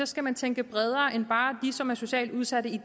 skal man tænke bredere end bare på som er socialt udsatte i